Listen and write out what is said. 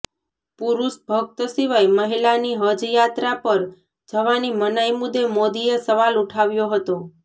પુરૂષ ભક્ત સિવાય મહિલાની હજ યાત્રા પર જવાની મનાઇ મુદ્દે મોદીએ સવાલ ઉઠાવ્યો હતો